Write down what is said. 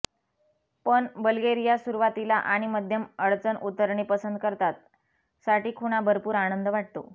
पण बल्गेरिया सुरुवातीला आणि मध्यम अडचण उतरणी पसंत करतात साठी खुणा भरपूर आनंद वाटतो